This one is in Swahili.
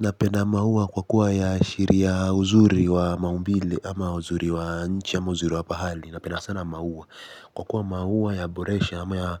Napenda maua kwa kuwa ya shiri ya huzuri wa maumbile ama uzuri wa nchi ama uzuri wa pahali. Napenda sana mauwa kwa kuwa mahuwa ya boresha ama